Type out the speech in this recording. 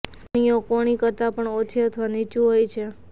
કળીઓ કોણી કરતાં પણ ઓછી અથવા નીચું હોય છે